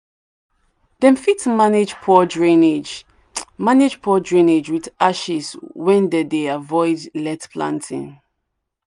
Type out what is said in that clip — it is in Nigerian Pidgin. dem fit manage poor drainage manage poor drainage with ashes when dem dey avoid let planting